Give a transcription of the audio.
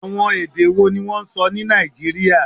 Awọn ede wo ni wọn sọ ni Naijiria?